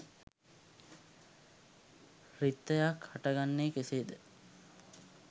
රික්තයක් හටගන්නේ කෙසේද?